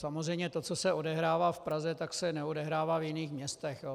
Samozřejmě to, co se odehrává v Praze, tak se neodehrává v jiných městech.